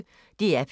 DR P1